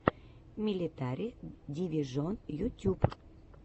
милитари дивижон ютюб